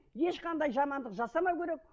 ешқандай жамандық жасамау керек